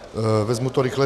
Vezmu to rychle.